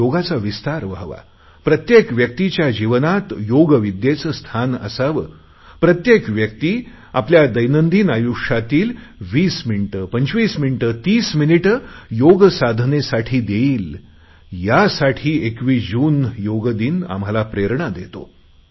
योगाचा विस्तार व्हावा प्रत्येक व्यक्तीच्या जीवनात योग विद्येचे स्थान असावे प्रत्येक व्यक्ती आपल्या दैनंदिन आयुष्यातील 20 मिनिटे 25 मिनिटे 30 मिनिटे योगसाधनेसाठी देईल यासाठी 21 जून हा योग दिन आम्हाला प्रेरणा देतो